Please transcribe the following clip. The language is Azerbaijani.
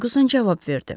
Ferquson cavab verdi.